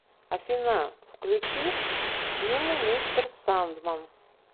афина включи симл мистер сандман